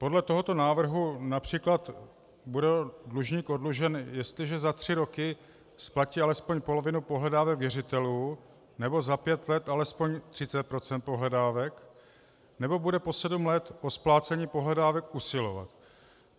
Podle tohoto návrhu například bude dlužník oddlužen, jestliže za tři roky splatí alespoň polovinu pohledávek věřitelů nebo za pět let alespoň 30 % pohledávek nebo bude po sedm let o splácení pohledávek usilovat.